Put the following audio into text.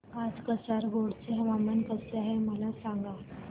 आज कासारगोड चे हवामान कसे आहे मला सांगा